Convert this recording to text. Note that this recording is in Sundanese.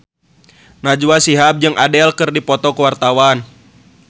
Najwa Shihab jeung Adele keur dipoto ku wartawan